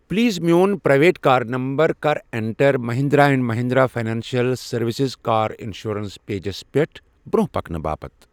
Please میون private car number کَر enter Mahindra and Mahindra financial services car insurance pages پٮ۪ٹھ برٛونٛہہ پکنہٕ باپتھ۔